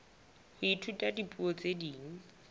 ho ithuta dipuo tse ding